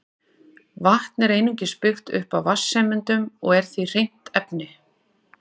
Vatn er einungis byggt upp af vatnssameindum og er því hreint efni.